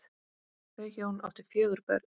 Þau hjón áttu fjögur börn.